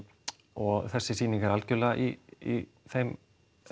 og þessi sýning er algjörlega í þeim